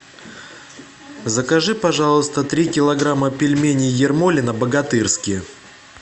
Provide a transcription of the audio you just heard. закажи пожалуйста три килограмма пельменей ермолино богатырские